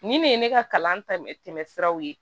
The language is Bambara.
Nin de ye ne ka kalan ta siraw ye